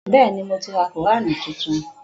Bẹ́ẹ̀ni, mo ti ra Kùrání tuntun.